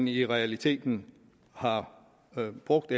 i realiteten har været brugt